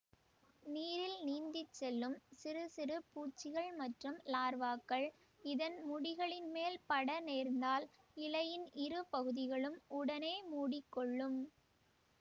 நீரில் நீந்தி செல்லும் சிறு சிறு பூச்சிகள் மற்றும் லார்வாக்கள் இதன் முடிகளின் மேல் பட நேர்ந்தால் இலையின் இரு பகுதிகளும் உடனே மூடி கொள்ளும்